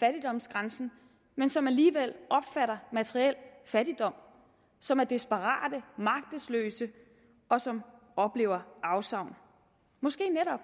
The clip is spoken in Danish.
fattigdomsgrænsen men som alligevel opfatter materiel fattigdom som er desperate magtesløse og som oplever afsavn måske netop